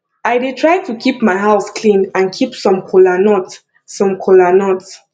i dey try to keep my house clean and keep some kola nut some kola nut